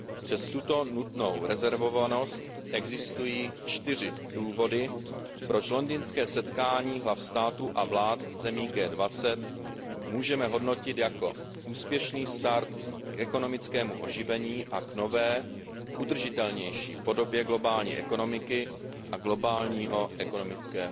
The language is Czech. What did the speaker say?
Přes tuto nutnou rezervovanost existují čtyři důvody, proč londýnské setkání hlav států a vlád zemí G20 můžeme hodnotit jako úspěšný start k ekonomickému oživení a k nové, udržitelnější podobě globální ekonomiky a globálního ekonomického